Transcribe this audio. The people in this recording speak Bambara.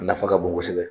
A nafa ka bon kosɛbɛ